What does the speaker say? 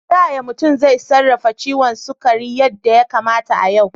Ta yaya mutum zai sarrafa ciwon sukari yadda ya kamata a yau?